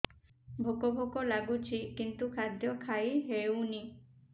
ଭୋକ ଭୋକ ଲାଗୁଛି କିନ୍ତୁ ଖାଦ୍ୟ ଖାଇ ହେଉନି